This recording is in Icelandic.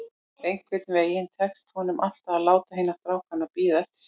Einhvern veginn tókst honum alltaf að láta hina strákana bíða eftir sér.